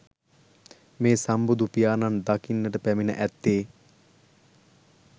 මේ සම්බුදු පියාණන් දකින්නට පැමිණ ඇත්තේ